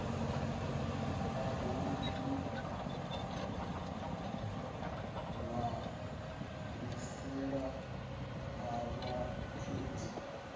ha u ḓiṋwalisela ha vhakhethi